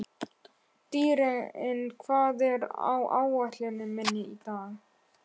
Dýri, hvað er á áætluninni minni í dag?